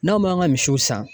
N'anw m'an ka misiw san